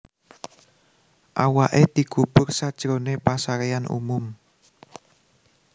Awaké dikubur sajroné pasaréan umum